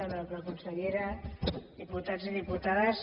honorable consellera diputats i diputades